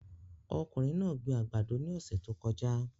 Ọkùnrin náà gbin àgbàdo ní ọ̀sẹ̀ tó kọjá